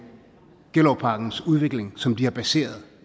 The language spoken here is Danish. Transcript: gellerupparkens udvikling som de har baseret